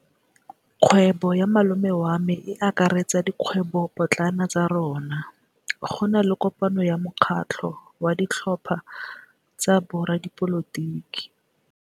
Kgwêbô ya malome wa me e akaretsa dikgwêbôpotlana tsa rona. Go na le kopanô ya mokgatlhô wa ditlhopha tsa boradipolotiki.